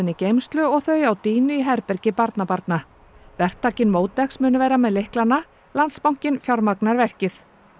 í geymslu og þau á dýnu í herbergi barnabarna vertakinn MótX mun vera með lyklana Landsbankinn fjármagnar verkið